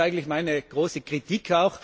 Das ist eigentlich meine große Kritik.